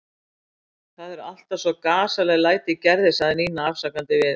Það eru alltaf svo gasaleg læti í Gerði sagði Nína afsakandi við